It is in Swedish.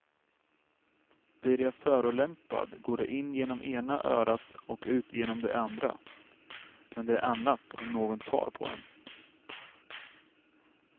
Blir jag förolämpad går det in genom ena örat och ut genom det andra men det är annat om någon tar på en.